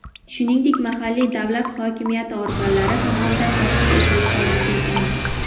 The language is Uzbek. shuningdek mahalliy davlat hokimiyati organlari tomonidan tashkil etilishi mumkin emas.